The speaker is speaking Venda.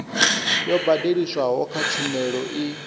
yo badeliswaho kha tshumelo i